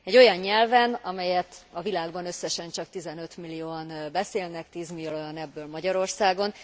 Egy olyan nyelven, amelyet a világban összesen csak 15 millióan beszélnek, 10 millióan ebből Magyarországon.